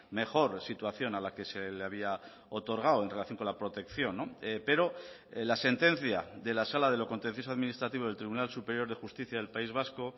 mejor situación a la que se le había otorgado en relación con la protección pero la sentencia de la sala de lo contencioso administrativo del tribunal superior de justicia del país vasco